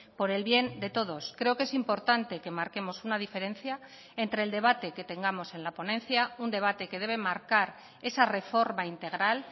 por el bien de todos creo que es importante que marquemos una diferencia entre el debate que tengamos en la ponencia un debate que debe marcar esa reforma integral